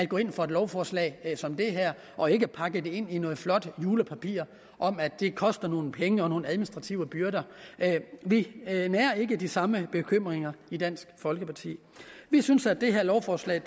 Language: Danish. gå ind for et lovforslag som det her og ikke pakke det ind i noget flot julepapir om at det koster nogle penge og medfører nogle administrative byrder vi nærer ikke de samme bekymringer i dansk folkeparti vi synes at det her lovforslag